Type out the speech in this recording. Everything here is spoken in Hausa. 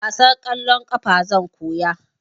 Wasan kwallon ƙafa zan koya